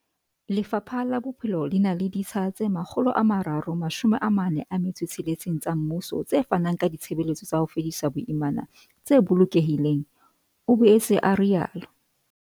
Lefapha la Bophelo le na le ditsha tse 346 tsa mmuso tse fanang ka ditshebeletso tsa ho fedisa boimana tse bolokehileng, o boetse a rialo.